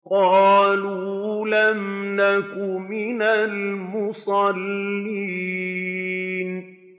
قَالُوا لَمْ نَكُ مِنَ الْمُصَلِّينَ